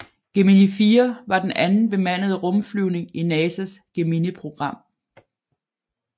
Gemini 4 var den anden bemandede rumflyvning i NASAs Geminiprogram